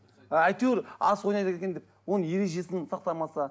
әйтеуір асық ойнайды екен деп оның ережесін сақтамаса